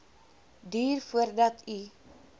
duur voordat u